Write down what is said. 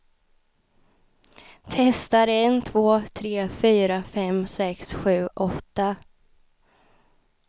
Testar en två tre fyra fem sex sju åtta.